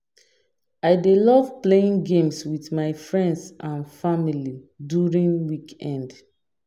I dey love playing games with my friends and family during weekend.